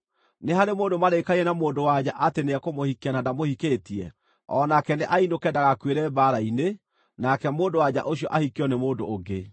Nĩ harĩ mũndũ marĩkanĩire na mũndũ-wa-nja atĩ nĩekũmũhikia na ndamũhikĩtie? O nake nĩ ainũke ndagakuĩre mbaara-inĩ nake mũndũ-wa-nja ũcio ahikio nĩ mũndũ ũngĩ.”